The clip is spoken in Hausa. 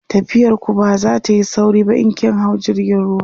tafiyar ku ba zatayi sauri ba in kin hau jirgin ruwa